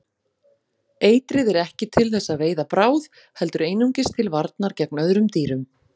Eitrið er ekki til þess að veiða bráð heldur einungis til varnar gegn öðrum dýrum.